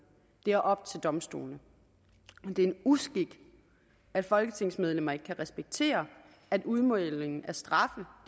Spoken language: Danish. det er op til domstolene det er en uskik at folketingsmedlemmer ikke kan respektere at udmålingen af straffe